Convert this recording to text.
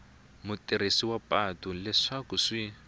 mutirhisi wa patu leswaku swi